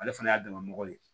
Ale fana y'a damana mɔgɔ ye